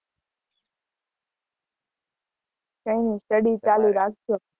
કઈ ની study ચાલુ રાખજે